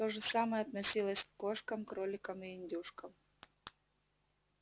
то же самое относилось к кошкам кроликам и индюшкам